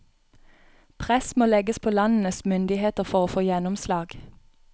Press må legges på landenes myndigheter for å få gjennomslag.